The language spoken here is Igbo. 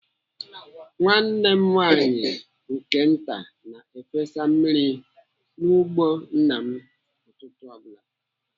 Nwanne m nwaanyị nke nta na-efesa mmiri n'ugbo nna m ụtụtụ ọ bụla.